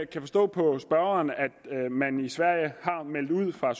kan forstå på spørgeren at man i sverige har meldt ud fra